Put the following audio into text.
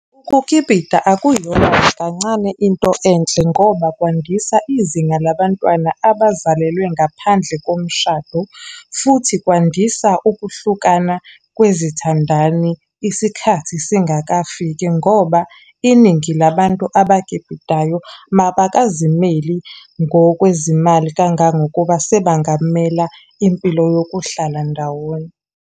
Ukukipita akuyona nakancane into enhle ngoba kwandisa izinga labantwana abazalelwe ngaphandle komshado. Futhi kwandisa ukuhlukana kwezithandani isikhathi singakafiki, ngoba iningi labantu abakipitayo mabakazimeli ngokwezimali kangangokuba sebangamela impilo yokuhlala ndawonye.